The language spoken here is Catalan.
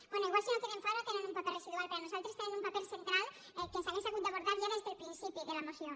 bé potser si no queden fora tenen un paper residual per nosaltres tenen un paper central que s’hauria hagut d’abordar ja des del principi de la moció